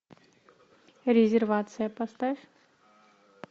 резервация поставь